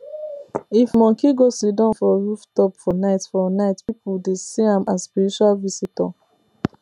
if monkey go siddon for rooftop for night for night people dey see am as spiritual visitor